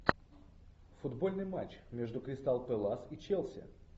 футбольный матч между кристал пэлас и челси